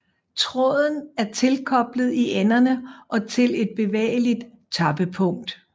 Tråden er tilkoblet i enderne og til et bevægeligt tappepunkt